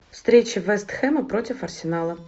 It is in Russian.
встреча вест хэма против арсенала